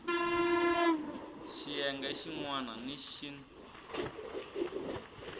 xiyenge xin wana ni xin